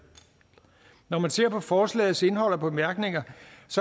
når man ser på forslagets indhold og bemærkninger